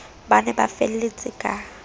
ba ne ba felletse ka